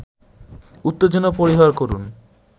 উত্তেজনা পরিহার করুন